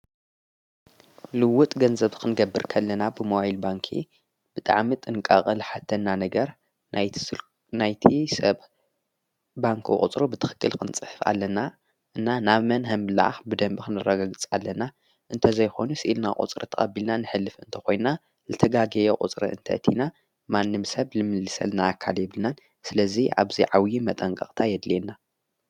ልውጥ ገንዘብ ኽንገብርከለና ብመዋይል ባንክ ብጥዕም ጥንቃቐ ል ሓተና ነገር ናይናይቲ ሰብ ባንክ ቕጽሮ ብትኽክል ክንጽሕፍ ኣለና እና ናብ መን ሕምላኣኽ ብደንቢ ኽንረጕግጽ ኣለና እንተዘይሆኑ ስኢልና ቝጽሪ ተቐቢልናን ኅልፊ እንተ ኾይንና ልተጋጌየ ቝጽረ እንተ እቲና ማንም ሰብ ልምልሰል ናኣካል የብልናን ስለዙይ ኣብዘይ ዓውዪ መጠንቀቕታ የድልየና።